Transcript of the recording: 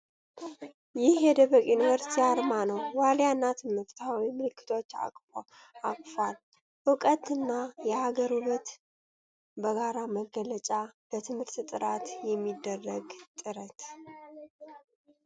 ይሄ የደበቅ ዩኒቨርሲቲ አርማ ነው! ዋልያ እና ትምህርታዊ ምልክቶችን አቅፏል። ዕውቀትና የሀገር ውበት በጋራ መገለጫ! ለትምህርት ጥራት የሚደረግ ጥረት !